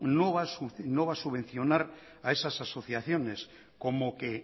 no va a subvencionar a esas asociaciones como que